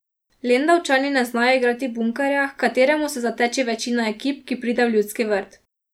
Lendavčani ne znajo igrati bunkerja, h kateremu se zateče večina ekip, ki pride v Ljudski vrt.